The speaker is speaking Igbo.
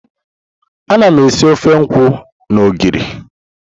Ana m esi ofe nkwu na ogiri.